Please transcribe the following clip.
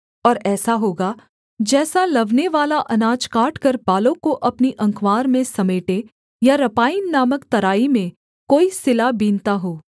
और ऐसा होगा जैसा लवनेवाला अनाज काटकर बालों को अपनी अँकवार में समेटे या रपाईम नामक तराई में कोई सिला बीनता हो